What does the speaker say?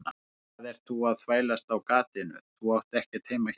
Hvað ert þú að þvælast á gatinu, þú átt ekkert heima hérna.